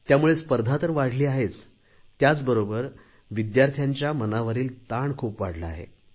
त्यामुळे स्पर्धा तर वाढली आहेच त्याचबरोबर विद्यार्थ्यांच्या मनावरील ताण खूप वाढला आहे